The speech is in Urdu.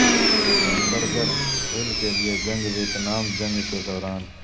ہیمبرگر ہل کے لئے جنگ ویتنام جنگ کے دوران